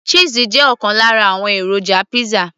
cheese jẹ́ ọ̀kan lára àwọn èròjà pizza